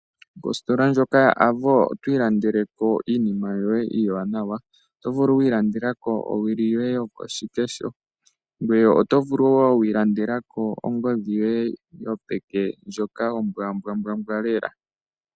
Ositola ndjoka ya Avo otwiilandeleko iinima yoye iiwanawa, otovulu okwiilandelako owili yoye yokoshikesho ngweye otovulu woo okwiilandelako ongodhi yoye yopeke ombwambwa lela.